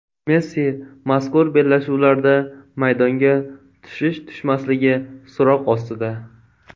Messi mazkur bellashuvlarda maydonga tushish-tushmasligi so‘roq ostida.